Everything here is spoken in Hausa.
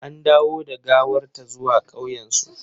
An dawo da gawar ta zuwa ƙauyensu.